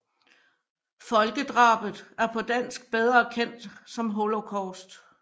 Folkedrabet er på dansk bedre kendt som Holocaust